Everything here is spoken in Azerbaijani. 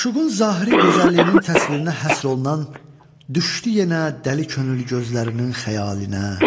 Məşuqün zahiri gözəlliyinin təsvirinə həsr olunan "Düşdü yenə dəli könül gözlərinin xəyalinə".